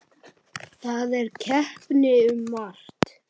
Það er keppt um margt.